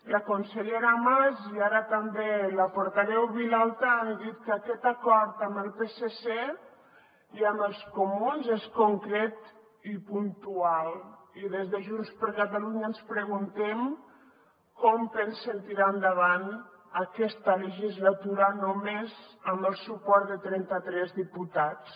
la consellera mas i ara també la portaveu vilalta han dit que aquest acord amb el psc i amb els comuns és concret i puntual i des de junts per catalunya ens preguntem com pensen tirar endavant aquesta legislatura només amb el suport de trenta tres diputats